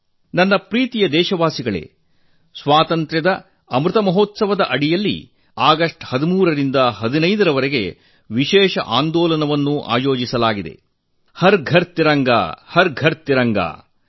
ನನ್ನ ಪ್ರೀತಿಯ ದೇಶವಾಸಿಗಳೇ ಸ್ವಾತಂತ್ರ್ಯದ ಅಮೃತ ಮಹೋತ್ಸವದ ಅಂಗವಾಗಿ ಆಗಸ್ಟ್ 13 ರಿಂದ 15 ರವರೆಗೆ ಹರ್ ಘರ್ ತಿರಂಗಾ ಹರ್ ಘರ್ ತಿರಂಗಾ ಮನೆ ಮನೆಯಲ್ಲೂ ತ್ರಿವರ್ಣ ಧ್ವಜ ವಿಶೇಷ ಅಭಿಯಾನ ಆಯೋಜಿಸಲಾಗಿದೆ